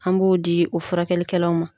An b'o di o furakɛli kɛlaw ma.